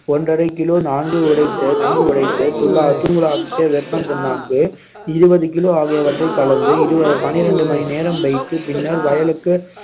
ஒன்றரை kilo நான்கு நன்கு உடைத்து துள்ளா~ தூளாக்கிய வேப்பம் புண்ணாக்கு இருபது kilo ஆகியவற்றைக் கலந்து பன்னிரெண்டு மணி நேரம் வைத்து பின்னர் வயலுக்கு